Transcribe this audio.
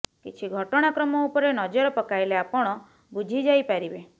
କିଛି ଘଟଣାକ୍ରମ ଉପରେ ନଜର ପକାଇଲେ ଆପଣ ବୁଝିଯାଇ ପାରିବେ